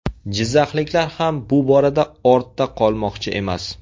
Jizzaxliklar ham bu borada ortda qolmoqchi emas.